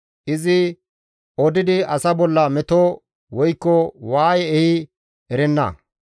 Izi odidi asa bolla meto woykko waaye ehi erenna.